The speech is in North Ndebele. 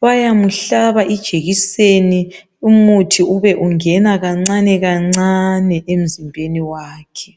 bayamhlaba ijekiseni umuthi ube ungena kancane kancane emzimbeni wakhe